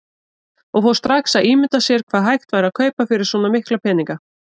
Og fór strax að ímynda sér hvað hægt væri að kaupa fyrir svo mikla peninga.